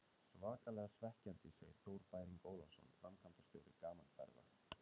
Svakalega svekkjandi, segir Þór Bæring Ólafsson, framkvæmdastjóri Gaman Ferða.